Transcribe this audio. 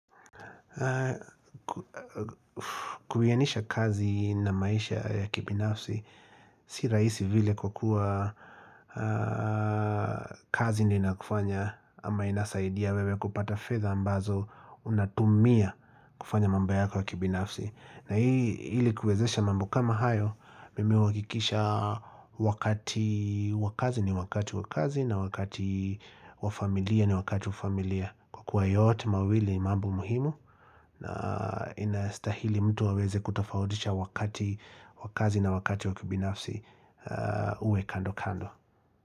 Kuhianisha kazi na maisha ya kibinafsi Si rahisi vile kwa kuwa kazi ndio inakufanya ama inasaidia wewe kupata fedha ambazo unatumia kufanya mambo yako ya kibinafsi na hii ili kuwezesha mambo kama hayo Mimi huwakikisha wakati wakazi ni wakati wakazi na wakati wafamilia ni wakati wafamilia kwa kuwa yote mawili ni mambo muhimu na inastahili mtu aweze kutofautisha wakati wakazi na wakati wakibinafsi uwe kando kando.